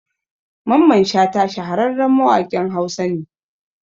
Mamman Shata shahararren mawaƙin Hausa ne